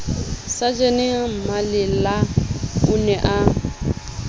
sajene mallela o ne a